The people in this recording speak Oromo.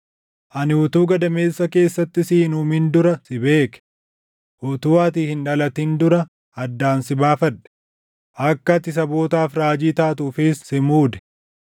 “Ani utuu gadameessa keessatti si hin uumin dura si beeke; utuu ati hin dhalatin dura addaan si baafadhe; akka ati sabootaaf raajii taatuufis si muude.”